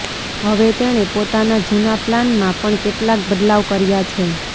હવે તેણે પોતાના જૂના પ્લાનમાં પણ કેટલાક બદલાવ કર્યા છે